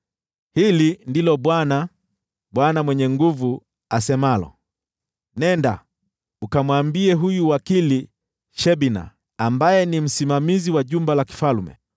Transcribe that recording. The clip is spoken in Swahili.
Hili ndilo Bwana, Bwana Mwenye Nguvu Zote, asemalo: “Nenda ukamwambie huyu wakili Shebna, ambaye ni msimamizi wa jumba la kifalme: